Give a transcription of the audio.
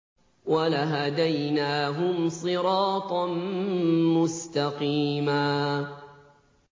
وَلَهَدَيْنَاهُمْ صِرَاطًا مُّسْتَقِيمًا